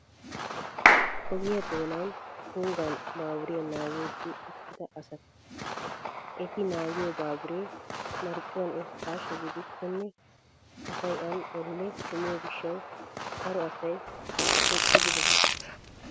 Ogiya doonana tunggan baaburiya naagiiddi uttida asata. Ha eti naagiyo baabure marccuwan irkkaasha gidikkonne asay an elle kumiyoo gishshawu daro asay eqqidi bes.